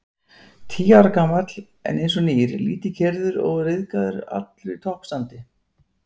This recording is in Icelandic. Tíu ára gamall, en einsog nýr, lítið keyrður, óryðgaður, allur í toppstandi.